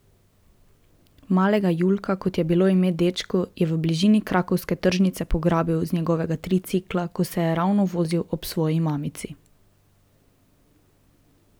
Malega Julka, kot je bilo ime dečku, je v bližini krakovske tržnice pograbil z njegovega tricikla, ko se je ravno vozil ob svoji mamici.